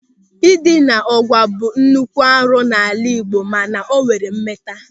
Ndina ụ̀gwa bụ nnukwu arụ n'ala Igbo mana o nwere mmeta.